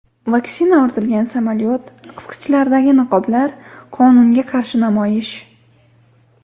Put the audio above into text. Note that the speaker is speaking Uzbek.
Vaksina ortilgan samolyot, qisqichlardagi niqoblar, qonunga qarshi namoyish.